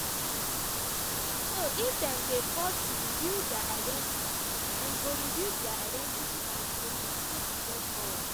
so if dem dey forced to reveal dia identity dem go reveal dia identity and we go continue to press forward.”